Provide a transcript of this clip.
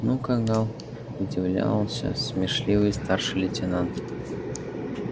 ну кагал удивлялся смешливый старший лейтенант